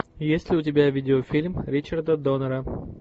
есть ли у тебя видеофильм ричарда доннера